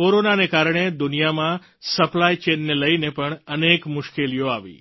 કોરોનાને કારણે દુનિયામાં સપ્લાય ચેઇન ને લઈને પણ અનેક મુશ્કેલીઓ આવી